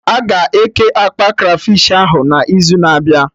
Aga eke akpa Krafish ahụ na izu na-abịa?